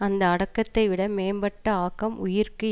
அந்த அடக்கத்தை விட மேம்பட்ட ஆக்கம் உயிர்க்கு